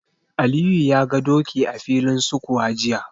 Aliyu ya ga doki a filin sukuwa jiya.